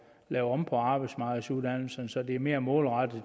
lave om på arbejdsmarkedsuddannelserne så de er mere målrettet